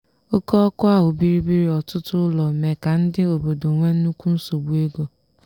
oke ọkụ ahụ bibiri ọtụtụ ụlọ mee ka ndị obodo nwee nnukwu nsogbu ego.